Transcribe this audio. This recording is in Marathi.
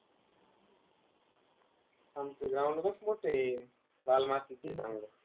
आमचं ground बघ, मोठं आहे. लाल मातीचं चांगलं.